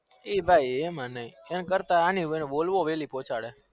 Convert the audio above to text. એ નઈ એમાં નઈ ભાઈ એના કરતા અણી બોલવો વેલી પોચાડે